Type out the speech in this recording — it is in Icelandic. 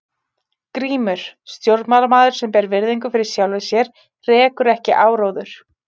GRÍMUR: Stjórnmálamaður sem ber virðingu fyrir sjálfum sér rekur ekki áróður.